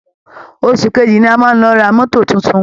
Óṣù kejì ni a máa lọ ra mọ́to tuntun